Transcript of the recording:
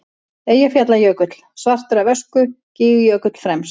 Eyjafjallajökull svartur af ösku, Gígjökull fremst.